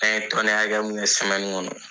An ye tɔni hakɛ mu kɛ semɛni kɔnɔ